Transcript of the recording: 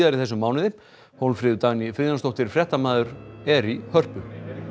í þessum mánuði Hólmfríður Dagný Friðjónsdóttir fréttamaður er í Hörpu